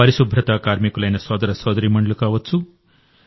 పరిశుభ్రతా కార్మికులైన సోదర సోదరీమణులు కావచ్చు